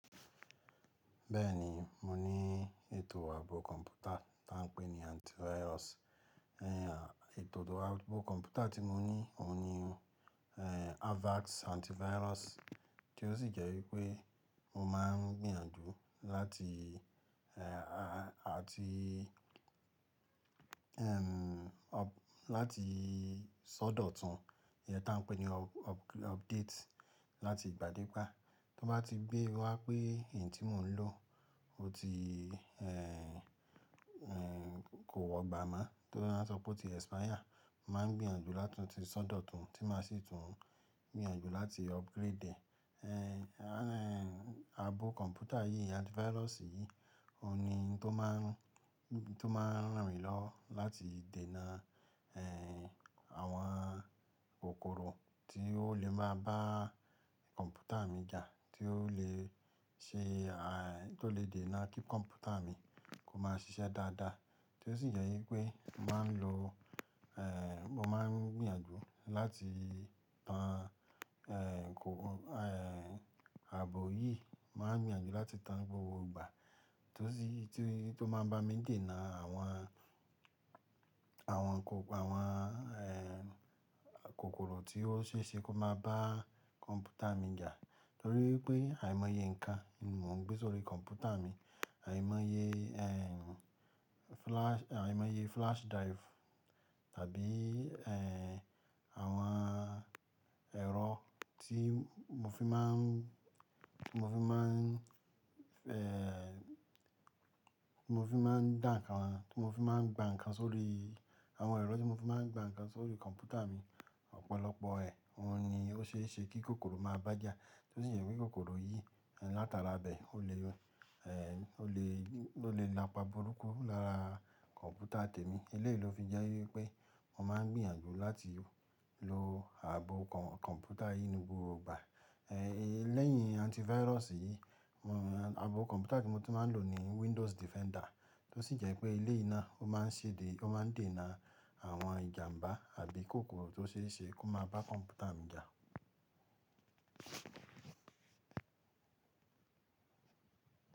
Bẹ́ẹ̀ni, mo ní ètò ààbò kọ̀ǹpútà tí wọ́n ń pè ní antivirus. Ẹ̀, ètò ààbò kọ̀ǹpútà tí mo ní, òun ni, eeh, Avast Antivirus tí ó sì jẹ́ wípé mo máa ń gbìyànjú láti, eeh, a-a-ti, ẹm, láti sọ́dọ̀tún, iye tí wọ́n ń pè ní up-up-update láti ìgbà dé ìgbà. Tó bá ti gbé wá pé èyí tí mò ń lò ó ti, eeh, eeh, kò wọ́gba mọ́ torí wọ́n sọ pé ó ti expire, màá gbìyànjú láti tún sọ́dọ̀tún tí màá sì tún gbìyànjú láti upgrade ẹ̀. Eeh, aàbò kọ̀ǹpútà yìí, antivirus yìí, òun ni tó máa ń, tó máa ń ranmi lọwo láti dènà, eeh, àwọn kòkòrò tí ó le máa bá kọ̀ǹpútà mi jà, tí ó lè ṣe, à, tí ó lè dènà kí kọ̀ǹpútà mi kó máa ṣiṣẹ́ dáadáa. Tó sì jẹ́ wípé màá ń lo, eeh, mo máa ń gbìyànjú láti tan, eeh, kò, eeh, ààbò yìí, màá gbìyànjú láti tan gbogbo ìgbà tó sì ti, tí ó máa ń bá mi dènà àwọn, àwọn kò-- àwọn, eeh, kòkòrò tí ó ṣe é ṣe kó máa bá kọ̀ǹpútà mi jà torí pé àìmọye nǹkan mo ń gbé sórí kọ̀ǹpútà mi. Àìmọye, eeh, flash, àìmọye flash drive tàbí, eeh, àwọn ẹ̀rọ tí mo fi máa ń, mo fi máa ń, eeh, mo fi máa ń dà nǹkan, tí mo fi máa ń gba nǹkan sórí, àwọn ẹ̀rọ tí mo fi máa ń gba nǹkan sórí kọ̀ǹpútà mi. Ọ̀pọ̀lọpọ̀ ẹ̀, òun ni ó ṣe é ṣe kí kòkòrò máa bá jà. Tó sì jẹ́ wípé kòkòrò yìí látara bẹ̀ ò le, eeh, ò le, ò lè napa burúkú lára kọ̀ǹpútà tèmi. Eleyìí ló fi jẹ́ wípé mo máa ń gbìyànjú láti lo ààbò kọ̀ǹpútà yìí ní gbogbo ìgbà. Eeh, lẹ́yìn antivirus yìí, mo, ààbò kọ̀ǹpútà tí mo ti máa ń lò ni Windows Defender tó sì jẹ́ pé eleyìí náà ó máa ń ṣe dé, ó máa ń dènà àwọn ìjàǹbá àbí kòkòrò tó ṣe é ṣe kó máa bá kọ̀ǹpútà mi jà.